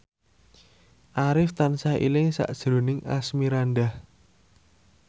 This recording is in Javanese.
Arif tansah eling sakjroning Asmirandah